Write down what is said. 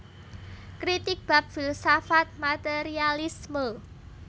Kritik bab filsafat materialisme